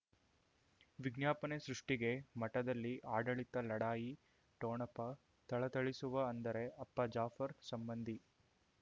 ವಿಜ್ಞಾಪನೆ ಸೃಷ್ಟಿಗೆ ಮಠದಲ್ಲಿ ಆಡಳಿತ ಲಢಾಯಿ ಠೋಣಪ ಥಳಥಳಿಸುವ ಅಂದರೆ ಅಪ್ಪ ಜಾಫರ್ ಸಂಬಂಧಿ